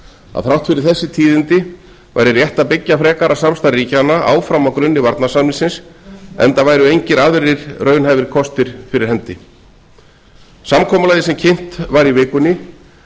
að þrátt fyrir þessi tíðindi væri rétt að byggja frekara samstarf ríkjanna áfram á grunni varnarsamningsins enda væru engir aðrir raunhæfir kostir fyrir hendi samkomulagið sem kynnt var í vikunni